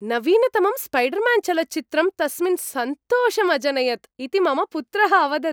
नवीनतमं स्पैडर्म्यान्चलच्चित्रं तस्मिन् सन्तोषम् अजनयत् इति मम पुत्रः अवदत्।